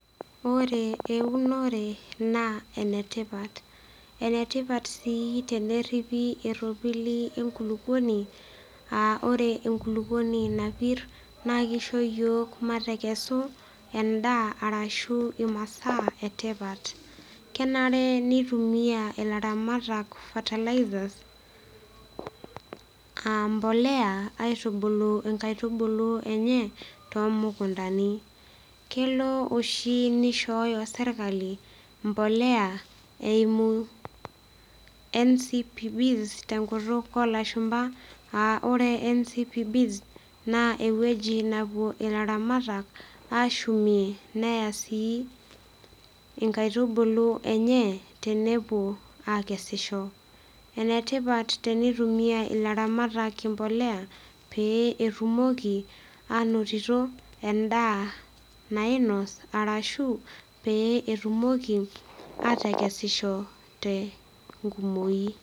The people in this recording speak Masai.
Ore eunore naa enetipat. Enetipat sii teneripi eropili enkulupuoni aa ore enkulupuoni napir naa kisho yiok matekesu endaa ashu imasaa etipat. Kenare nitumia ilaramatak fertilizers aa mbolea aitubulu nkaitubulu enye tumukuntani . Kelo oshi nishooyo sirkali mbolea eimu NCBS tenkutuk olashumba, aa ore NBCBS naa ewueji napuo ilaramatak ashumie neya sii nkaitubulu enye tenepuo akesisho. Enetipat tenetumia ilaramatak embolea pee etumoki anotito endaa nainos ashu petumoki atekesisho tenkumoi.